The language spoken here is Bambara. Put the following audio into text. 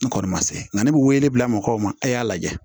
N kɔni ma se nka ne bɛ wele bila mɔgɔw ma e y'a lajɛ